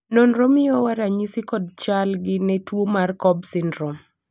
nonro miyowa ranyisi kod chal gi ne tuo mar cobb syndrome